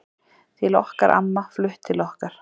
Til okkar amma, flutt til okkar.